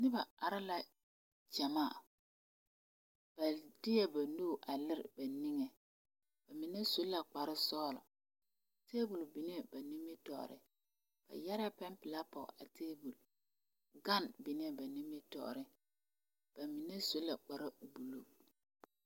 Noba are la gyamaa ba deɛ ba nuure a lere ba niŋe ba mine su la kpar sɔgelɔ tabol niŋee ba nimitɔɔre ba yɛrɛɛ pɛne pelaa pɔge a tabol gan niŋee ba nimitɔɔreŋ ba mine su la kparre buluu